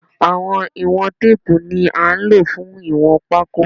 Àwọn ìwọ̀n teepu ní án ló fún ìwọ̀n pako